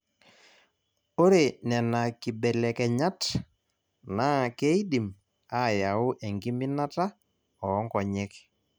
Ore nena kibelekenyat naa keidim aayau enkiminata oonkonyek.